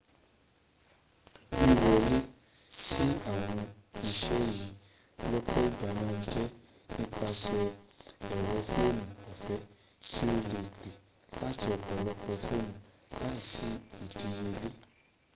wíwọle sí àwọn isé yíì lọ́pọ̀ ìgbà màà n jẹ́ nípasè ẹ̀rọ fóònù ọ̀fẹ́ tí o lẹ pè láti ọ̀pọ̀lọpọ̀ foonu láìsí ìdíyẹlẹ́´